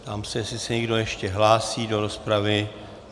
Ptám se, jestli se někdo ještě hlásí do rozpravy.